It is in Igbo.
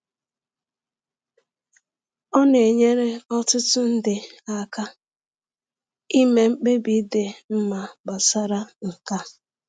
Ọ na-enyere ọtụtụ ndị aka ime mkpebi dị mma gbasara nke a.